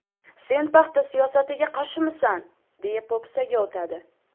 Sen paxta siyosatiga qarshimisan, deya po‘pisaga o‘tadi.